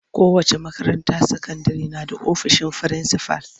Kowace makaranta sakandire na da ofisin frinsifal.